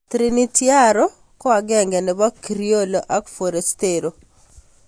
Trinitario ko agenge nebo Criollo ak Forastero